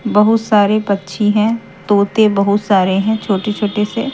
बहुत सारे पच्छी हैं तोते बहुत सारे हैं छोटे-छोटे से।